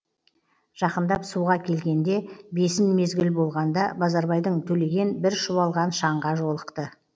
жақындап суға келгенде бесін мезгіл болғанда базарбайдың төлеген бір шұбалған шаңға жолықты